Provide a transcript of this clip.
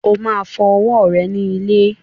O máa fọ ọwọ́ rẹ ní ilé.